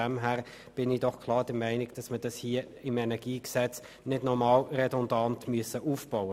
Insofern sollten diese im KEnG nicht noch redundant aufgebaut werden.